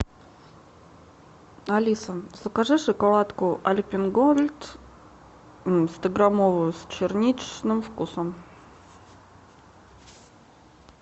алиса закажи шоколадку альпен гольд стограммовую с черничным вкусом